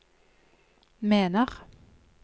mener